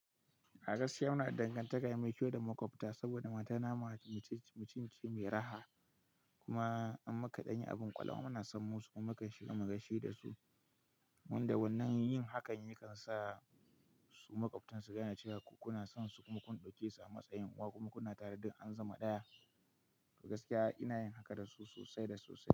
A gaskiya muna da dangantaka mai kyau da makwabta saboda matana mata, mutum ce mai raha kuma in muka danyi abin ƙwala muna sanmu suka shiga mu gashi da su. Wanda wannan yin hakan yakan sa su makwabtan su gane cewa ku kuna son su kuma kun ɗauke su a matsayin uwa kuma kuna tare dun an zama ɗaya. A gaskiya ina yin haka da su sosai da sosai.